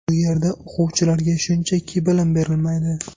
Bu yerda o‘quvchilarga shunchaki bilim berilmaydi.